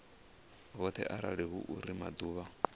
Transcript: vhoṱhe arali hu uri maḓuvha